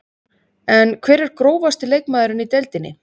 En hver er grófasti leikmaðurinn í deildinni?